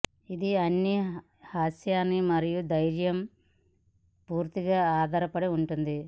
ఇది అన్ని మీ హాస్యాన్ని మరియు ధైర్యం పూర్తిగా ఆధారపడి ఉంటుంది